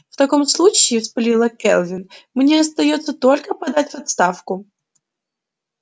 в таком случае вспылила кэлвин мне остаётся только подать в отставку